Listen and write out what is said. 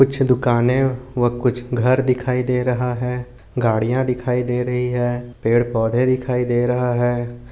कुछ दुकाने व कुछ घर दिखाई दे रहे है गड़िया दिखाई दे रही है पेड़ पौदे दिखाई दे रहा है।